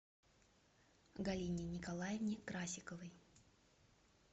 галине николаевне красиковой